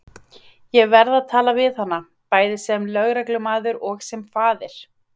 Ég verð að tala við hana, bæði sem lögreglumaður og sem faðir.